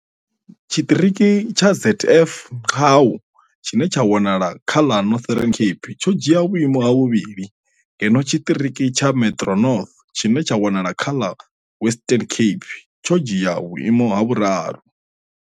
Tshiṱiriki tsha ZF Mgcawu tshine tsha wanala kha ḽa Northern Cape tsho dzhia vhuimo ha vhuvhili ngeno tshiṱiriki tsha Metro North tshine tsha wanala kha ḽa Western Cape tsho dzhia vhuimo ha vhuraru.